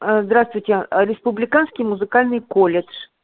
а здравствуйте республиканский музыкальный колледж